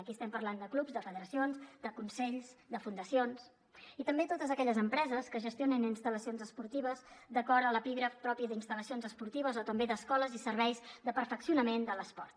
aquí estem parlant de clubs de federacions de consells de fundacions i també de totes aquelles empreses que gestionen instal·lacions esportives d’acord amb l’epígraf propi d’instal·lacions esportives o també d’escoles i serveis de perfeccionament de l’esport